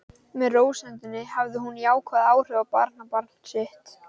Með rósemdinni hafði hún jákvæð áhrif á barnabarn sitt.